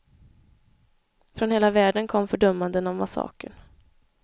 Från hela världen kom fördömanden av massakern.